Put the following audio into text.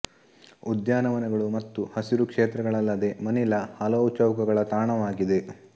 ಉದ್ಯಾನವನಗಳು ಮತ್ತು ಹಸಿರು ಕ್ಷೇತ್ರಗಳಲ್ಲದೆ ಮನಿಲಾ ಹಲವು ಚೌಕಗಳ ತಾಣವಾಗಿದೆ